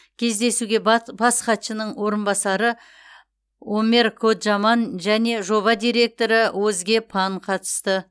кездесуге бас хатшының орынбасары омер коджаман және жоба директоры озге пан катысты